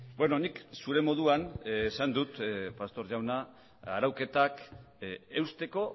beno nik zure moduan esan dut pastor jauna arauketak eusteko